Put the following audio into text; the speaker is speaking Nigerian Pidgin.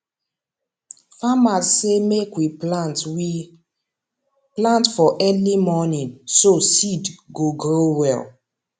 farmers say make we plant we plant for early morning so seed go grow well